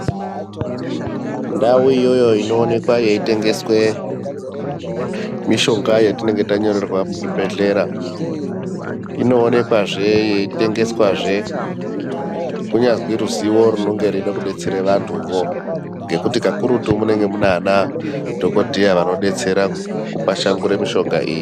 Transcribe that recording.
Ndau iyoyo inoonekwa yeitengeswe mishonga iyoyo yatinenge tanyorerwa muzvibhedhlera inoonekwazve yeitengeswazve kunyazi ruziwo runenge reide kudetsera vantuvo ngekuti kakurutu munenge muna ana dhokodheya vanodetseredza kupashangura mishonga iyi.